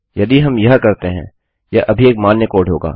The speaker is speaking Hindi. यदि हम यह करते हैं यह अभी एक मान्य कोड होगा